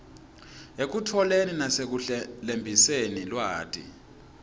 ekutfoleni nasekuhlelembiseni lwati